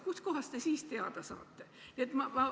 Kustkohast te siis teada saate?